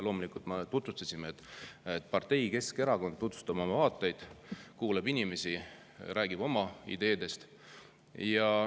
Loomulikult me tutvustasime ennast, et me oleme partei, Keskerakond, tutvustame oma vaateid, kuulame inimesi, räägime oma ideedest.